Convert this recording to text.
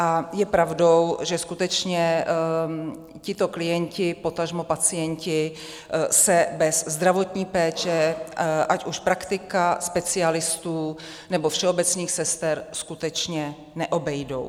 A je pravdou, že skutečně tito klienti, potažmo pacienti, se bez zdravotní péče, ať už praktika, specialistů, nebo všeobecných sester, skutečně neobejdou.